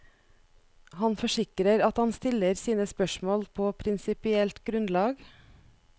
Han forsikrer at han stiller sine spørsmål på prinsipielt grunnlag.